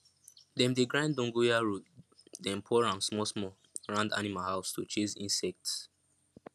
dem dey grind dogonyaro den pour am small small round animal house to chase insects